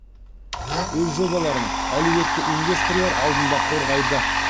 өз жобаларын әлеуетті инвесторлар алдында қорғайды